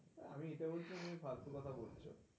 আমি এটাই বলছিলাম যে ফালতু কথা বলছে.